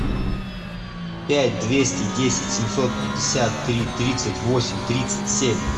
пять двести десять семьсот пятьдесят три тридцать восемь тридцать семь